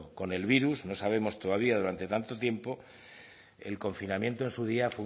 con el virus no sabemos todavía durante cuánto tiempo el confinamiento en su día